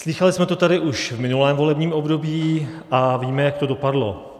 Slýchali jsme to tady už v minulém volebním období a víme, jak to dopadlo.